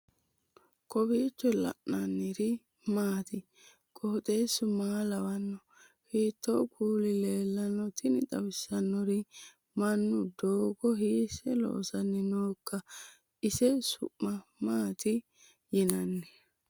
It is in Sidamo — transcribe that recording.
kowiicho leellannori maati ? qooxeessu maa lawaanno ? hiitoo kuuli leellanno ? tini xawissannori mannu doogo hiisse loosanni nooikka ise su'ma maati yinanni